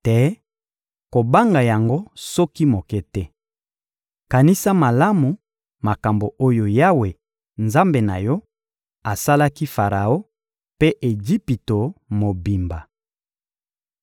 Te! Kobanga yango soki moke te! Kanisa malamu makambo oyo Yawe, Nzambe na yo, asalaki Faraon mpe Ejipito mobimba.